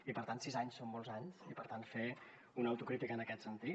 i per tant sis anys són molts anys i per tant fer una autocrítica en aquest sentit